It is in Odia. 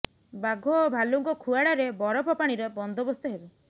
ବାଘ ଓ ଭାଲୁଙ୍କ ଖୁଆଡ଼ରେ ବରଫ ପାଣିର ବନ୍ଦୋବସ୍ତ ହେବ